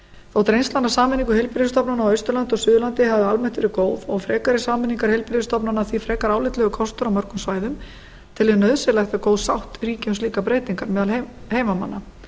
þótt reynslan af sameiningu heilbrigðisstofnana á austurlandi og suðurlandi hafi almennt verið góð og frekari sameiningar heilbrigðisstofnana því frekar álitlegur kostur á mörgum svæðum tel ég nauðsynlegt að góð sátt ríki um slíkar breytingar meðal heimamanna